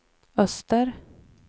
öster